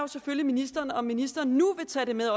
selvfølgelig ministeren om ministeren nu vil tage det med